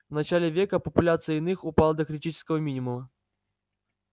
в начале века популяция иных упала до критического минимума